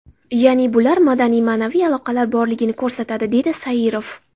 Ya’ni bular madaniy, ma’naviy aloqalar borligini ko‘rsatadi”, dedi Sairov.